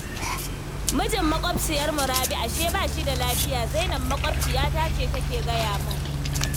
Mijin maƙwabciyarmu Rabi ashe ba shi da lafiya, Zainab maƙwabciyata ce take gaya min